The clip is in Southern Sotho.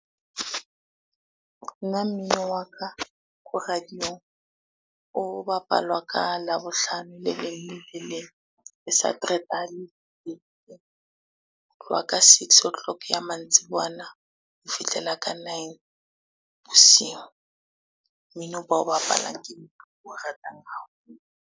Nna mmino wa ka ko radio-ng, o bapalwa ka Labohlano le leng le le leng, le Sateretaha . Ho tloha ka six o clock ya mantsibuwana ho fihlela ka nine bosibu. Mmino bao bapalang ke o ratang haholo.